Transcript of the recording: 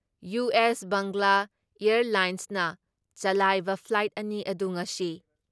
US Bangla ꯑꯦꯌꯥꯔꯂꯥꯏꯟꯁꯅ ꯆꯂꯥꯏꯕ flight ꯑꯅꯤ ꯑꯗꯨ ꯉꯁꯤ